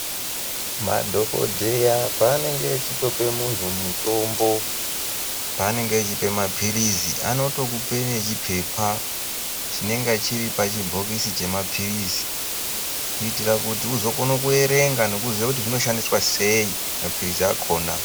Madhongodheya panenge achitopa munhu mutombo, panenge achipa mapirizi ,vanotokupa nechipepa chinenge chiri pabhokisi remapirizi ,kuitira kuti uzongona kuverenga nekuziva kuti zvinoshandiswa seii mapirizi akona.